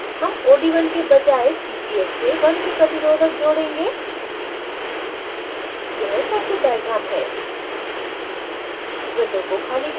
circuit में हम od1 के बजाय ccs से 1k प्रतिरोधक जोड़ेंगे यह circuit diagram है